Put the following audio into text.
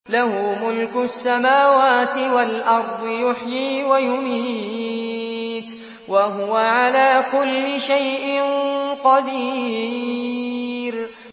لَهُ مُلْكُ السَّمَاوَاتِ وَالْأَرْضِ ۖ يُحْيِي وَيُمِيتُ ۖ وَهُوَ عَلَىٰ كُلِّ شَيْءٍ قَدِيرٌ